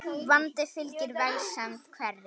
Vandi fylgir vegsemd hverri.